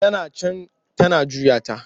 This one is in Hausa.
Tana can tana juya ta.